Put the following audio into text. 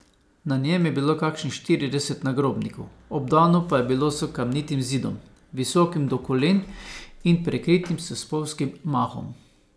Na njem je bilo kakšnih štirideset nagrobnikov, obdano pa je bilo s kamnitim zidom, visokim do kolen in prekritim s spolzkim mahom.